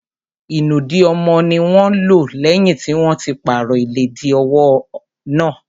Ìnùdí ọmọ ní wọ́n lò lẹ́yìn tí wọ́n ti pàrọ̀ ìlẹ́dì ọmọwọ́ náà.